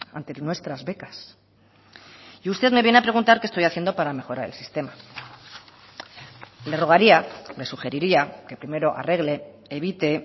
ante nuestras becas y usted me viene a preguntar qué estoy haciendo para mejorar el sistema le rogaría le sugeriría que primero arregle evite